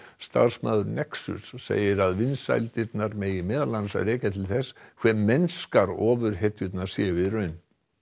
starfsmaður nexus segir að vinsældirnar megi meðal annars rekja til þess hve mennskar séu í raun